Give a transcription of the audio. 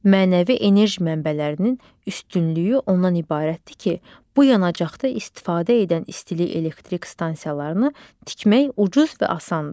Mənəvi enerji mənbələrinin üstünlüyü ondan ibarətdir ki, bu yanacaqda istifadə edən istilik elektrik stansiyalarını tikmək ucuzdur.